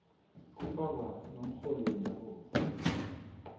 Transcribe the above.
kufaka nomrholi wendabuko